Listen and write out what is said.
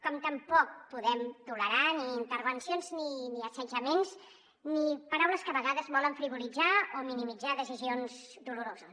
com tampoc podem tolerar ni intervencions ni assetjaments ni paraules que a vegades volen frivolitzar o minimitzar decisions doloroses